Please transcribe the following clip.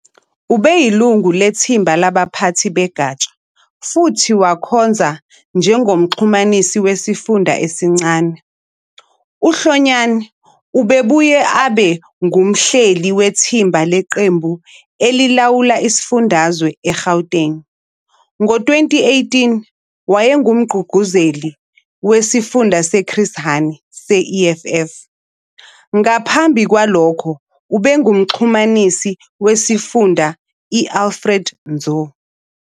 Ubeyilungu lethimba labaphathi begatsha futhi wakhonza njengomxhumanisi wesifunda esincane. UHlonyana ubebuye abe ngumhleli wethimba leqembu elilawula isifundazwe eGauteng. Ngo-2018, wayengumgqugquzeli weSifunda seChris Hani se-EFF. Ngaphambi kwalokho ubengumxhumanisi wesifunda i-Alfred Nzo.